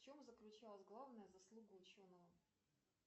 в чем заключалась главная заслуга ученого